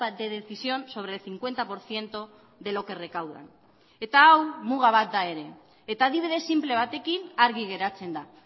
de decisión sobre el cincuenta por ciento de lo que recaudan eta hau muga bat da ere eta adibide sinple batekin argi geratzen da